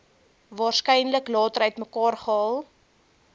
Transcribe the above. waarskynlik later uitmekaargehaal